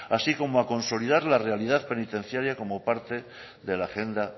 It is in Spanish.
así como a consolidar la realidad penitenciaria como parte de la agenda